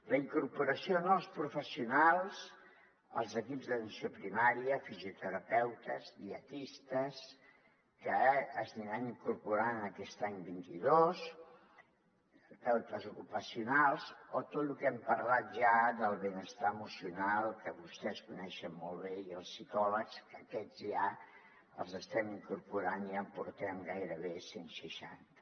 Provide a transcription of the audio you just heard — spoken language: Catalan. la incorporació de nous professionals als equips d’atenció primària fisioterapeutes dietistes que s’aniran incorporant aquest any vint dos terapeutes ocupacionals o tot lo que hem parlat ja del benestar emocional que vostès coneixen molt bé i els psicòlegs que aquests ja els estem incorporant i ja en portem gairebé cent seixanta